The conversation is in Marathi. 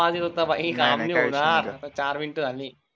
चार मिनिट झाले